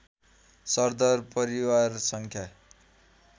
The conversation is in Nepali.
सरदर परिवार सङ्ख्या